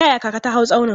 Ta yaya kaka ta hau tsaunin?